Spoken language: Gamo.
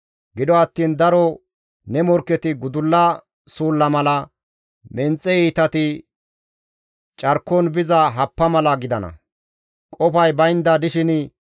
Gido attiin daro ne morkketi gudulla suulla mala, menxe iitati carkon biza happa mala gidana; qofay baynda dishin,